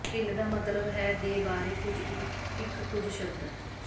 ਢਿੱਲ ਦਾ ਮਤਲਬ ਹੈ ਦੇ ਬਾਰੇ ਇੱਕ ਕੁਝ ਸ਼ਬਦ